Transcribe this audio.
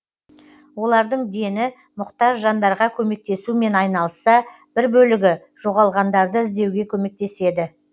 олардың дені мұқтаж жандарға көмектесумен айналысса бір бөлігі жоғалғандарды іздеуге көмектеседі